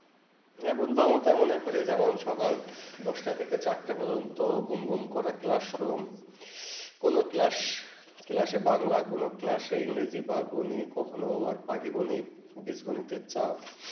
হেঁ বন্ধ আমি তেমন করেই সকাল দশটা থেকে চারটা প্রজন্ত ঘুম ঘুম করা ক্লাসরুম কোনো ক্লাসে বাংলা কোনো ক্লাসে ইংলিশ দীপক বোনে কখুনে বীজগণিতের চাপ